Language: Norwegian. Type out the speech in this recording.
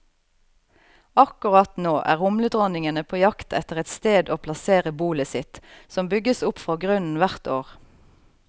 Akkurat nå er humledronningene på jakt etter et sted å plassere bolet sitt, som bygges opp fra grunnen hvert år.